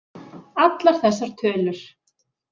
Allar þessar tölur.